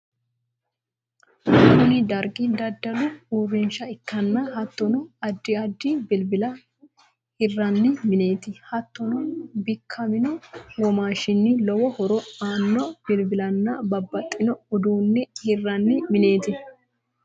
kuni dargi daddalu uurinsha ikkanna hattonni addi addi bilibila hirranni mineti. hattonni bikamino womashinni lowo horo aanno bilbilanna babbaxino udunne hiranni mineti.